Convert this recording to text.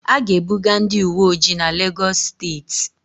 A ga-ebuga ndị uweojii n'Legọs steeti